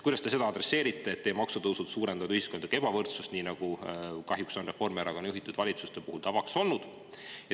Kuidas te adresseerite seda, et teie maksutõusud suurendavad ühiskondlikku ebavõrdsust, nii nagu kahjuks on Reformierakonna juhitud valitsuste puhul tavaks olnud?